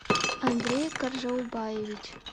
андрей каржаубаевич